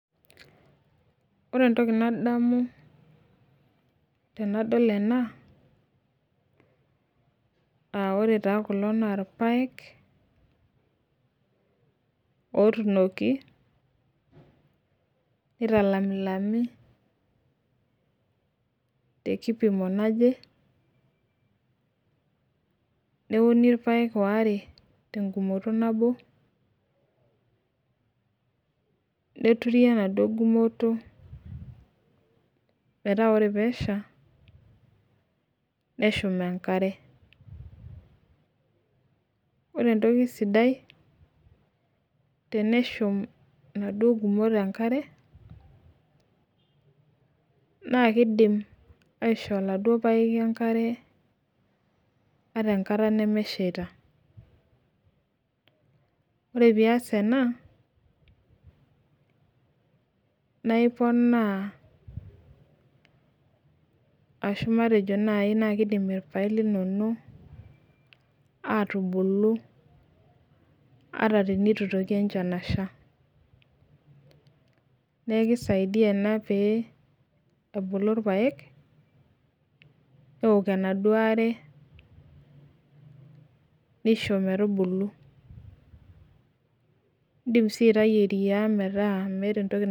Ore entoki nadamu tanadol ena aa ore kulo na irpaek otuunoki nitalamilami tenipiki neuni irpaek waare tenkumoto nabo neturi enaduo gumoto metaa ore pesha meshuk enkare ore entoki sidai teneshum naduo gumot enkare na kidim aisho oladuo paeki enkare ataa enkata nimishaita ore pias ena naiponaa ashu nai nakidim irpaek linonok atubulu asha neaku kisaidia ena pebulu irpaek neok enaduo aare nisho metubulu indim is aitau sheria metaa entoki.